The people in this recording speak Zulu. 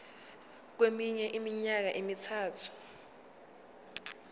kweminye iminyaka emithathu